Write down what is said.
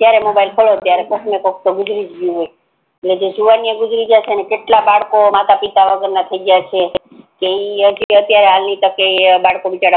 જ્યારે મોબાઈલ ખોલો તો કોક ને કોક ગુજારી ગયું હોય અને જે જુવાનીય ગુજારી ગ્યા છે એને કેટલા બરકો મોટા પિતા વગર ના થી ગ્યા છે ઈ અત્યારે હાલ ની તકે